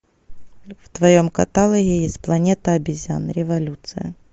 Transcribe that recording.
в твоем каталоге есть планета обезьян революция